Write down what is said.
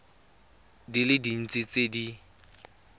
di le dintsi tse di